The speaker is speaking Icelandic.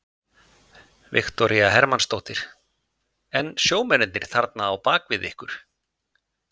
Viktoría Hermannsdóttir: En sjómennirnir þarna á bakvið ykkur?